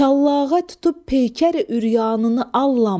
Şallağa tutub peykəri ürəyanını allam.